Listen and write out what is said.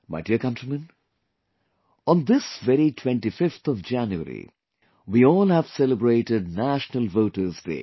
My dear countrymen, on this very 25th of January we all have celebrated National Voters Day